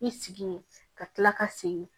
I sigi ye ka kila ka segin